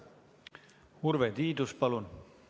Urve Tiidus, palun!